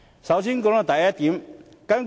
讓我先談談第一點。